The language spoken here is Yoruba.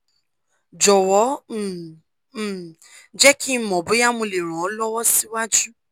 jọwọ um um jẹ ki n mọ boya mo le ran ọ lọwọ siwaju